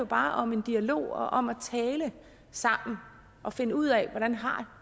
bare om en dialog og om at tale sammen og finde ud af hvordan